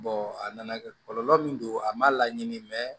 a nana kɛ kɔlɔlɔ min don a ma laɲini mɛ